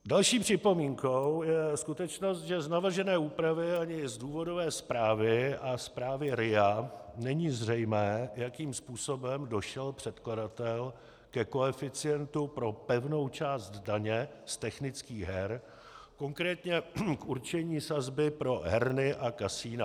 Další připomínkou je skutečnost, že z navržené úpravy ani z důvodové zprávy a zprávy RIA není zřejmé, jakým způsobem došel předkladatel ke koeficientu pro pevnou část daně z technických her, konkrétně k určení sazby pro herny a kasina.